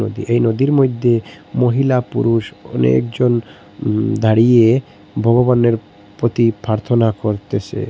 এই নদীর মইধ্যে মহিলা পুরুষ অনেকজন উম দাঁড়িয়ে ভগবানের প্রতি প্রার্থনা করতেসে।